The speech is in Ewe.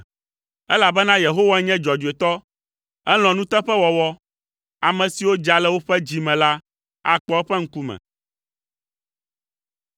Elabena Yehowae nye dzɔdzɔetɔ, elɔ̃a nuteƒewɔwɔ; ame siwo dza le woƒe dzi me la akpɔ eƒe ŋkume.